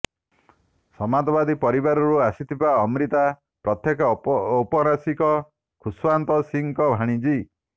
ସାମନ୍ତବାଦୀ ପରିବାରରୁ ଆସିଥିବା ଅମ୍ରିତା ପ୍ରଖ୍ୟାତ ଔପନ୍ୟାସିକ ଖୁସ୍ୱନ୍ତ ସିଂଙ୍କ ଭାଣିଜୀ